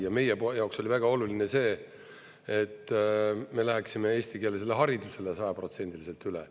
Ja meie jaoks oli väga oluline see, et me läheksime eestikeelsele haridusele sajaprotsendiliselt üle.